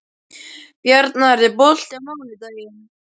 Bjarnar, er bolti á mánudaginn?